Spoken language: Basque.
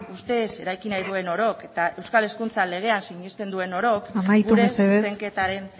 ustez eraiki nahi duen orok eta euskal hezkuntza legean sinesten duen orok gure zuzenketaren